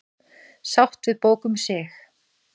Sátt við bók um sig